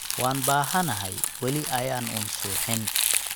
waan bahanahay weli ayan unn suxin